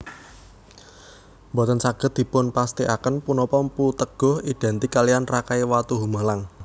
Boten saged dipunpesthikaken punapa Mpu Teguh identik kaliyan Rakai Watuhumalang